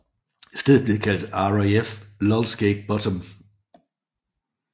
Stedet blev kaldt RAF Lulsgate Bottom